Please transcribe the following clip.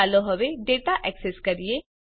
ચાલો હવે data access કરીએ